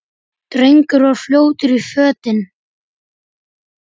Drengur var fljótur í fötin.